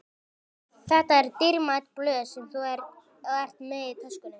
Þetta eru dýrmæt blöð sem þú ert með í töskunni.